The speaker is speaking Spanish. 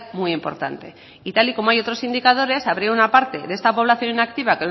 muy importante y tal y como hay otros indicadores habría una parte de esta población inactiva